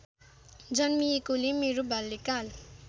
जन्मिएकोले मेरो बाल्यकाल